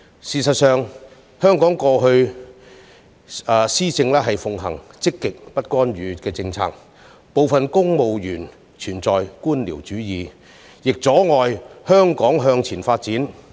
事實上，香港以往一直奉行積極不干預政策，部分政府部門存在官僚主義，阻礙香港前進。